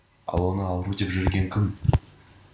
ал оны ауру деп жүрген кім